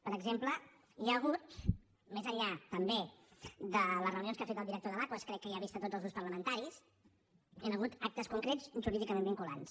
per exemple hi han hagut més enllà també de les reunions que ha fet el director de l’aquas crec que ja ha vist tots els grups parlamentaris actes concrets jurídicament vinculants